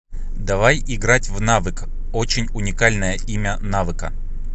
давай играть в навык очень уникальное имя навыка